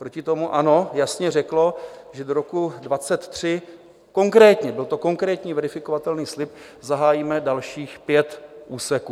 Proti tomu ANO jasně řeklo, že do roku 2023 konkrétně - byl to konkrétní, verifikovatelný slib - zahájíme dalších pět úseků.